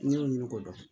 N y'o ɲini k'o dɔn